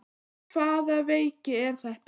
En hvaða veiki er þetta?